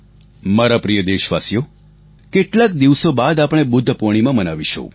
મારા પ્રિય દેશવાસીઓ કેટલાક દિવસો બાદ આપણે બુદ્ધ પૂર્ણિમા મનાવીશું